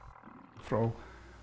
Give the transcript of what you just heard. frá